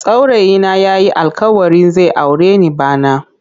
Saurayi na yayi alkawarin zai aure ni bana.